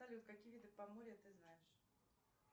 салют какие виды поморья ты знаешь